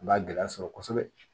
U b'a gɛlɛya sɔrɔ kosɛbɛ